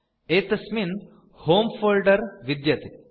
एतस्मिन् होमे फोल्डर विद्यते